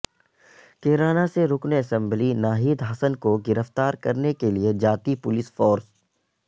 کیرانہ سے رکن اسمبلی ناہید حسن کو گرفتار کرنے کے لئے جاتی پولس فورس